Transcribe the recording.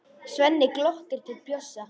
Svenni glottir til Bjössa.